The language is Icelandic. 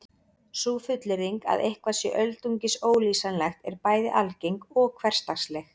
Sú fullyrðing að eitthvað sé öldungis ólýsanlegt er bæði algeng og hversdagsleg.